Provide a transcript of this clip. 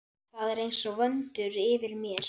Þeir eru einsog vöndur yfir mér.